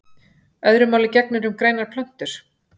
Öðru máli gegnir um grænar plöntur.